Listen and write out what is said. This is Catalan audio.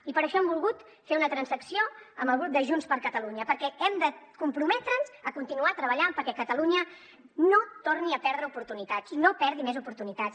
i per això hem volgut fer una transacció amb el grup de junts per catalunya perquè hem de comprometre’ns a continuar treballant perquè catalunya no torni a perdre oportunitats no perdi més oportunitats